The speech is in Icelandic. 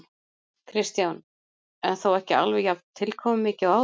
Kristján: En þó ekki alveg jafn tilkomumikið og áður?